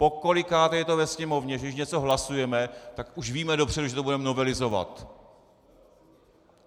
Pokolikáté je to ve Sněmovně, že když něco hlasujeme, tak už víme dopředu, že to budeme novelizovat.